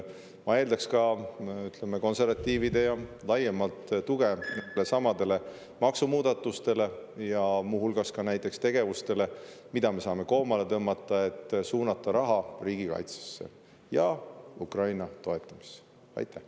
Ma eeldaks ka konservatiivide ja laiematki tuge nendele samadele maksumuudatustele, muu hulgas näiteks sellele, kui me tõmbame koomale tegevusi, et suunata raha riigikaitsesse ja Ukraina toetamisse.